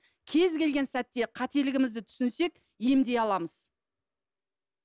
кез келген сәтте қателігімізді түсінсек емдей аламыз